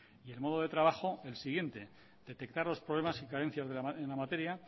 y el modo de trabajo el siguiente detectar los problemas y carencias en la materia